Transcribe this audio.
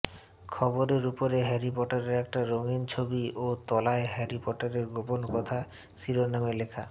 খবরের উপরে হ্যারি পটারের একটা রঙীন ছবি ও তলায় হ্যারি পটারের গোপন ব্যথা শিরোনামে লেখা